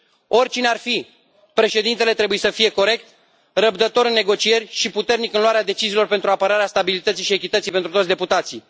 Oricine ar fi, președintele trebuie să fie corect, răbdător în negocieri și puternic în luarea deciziilor pentru apărarea stabilității și echității pentru toți deputații.